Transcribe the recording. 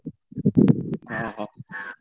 ହଁ ହଁ।